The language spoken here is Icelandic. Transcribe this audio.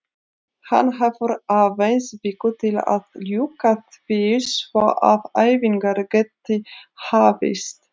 Hann hefur aðeins viku til að ljúka því svo að æfingar geti hafist.